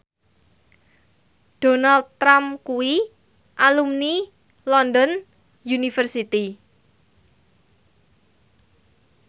Donald Trump kuwi alumni London University